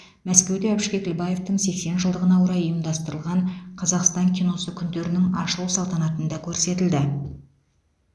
мәскеуде әбіш кекілбаевтың сексен жылдығына орай ұйымдастырылған қазақстан киносы күндерінің ашылу салтанатында көрсетілді